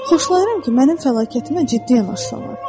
Xoşlayıram ki, mənim fəlakətimə ciddi yanaşsınlar.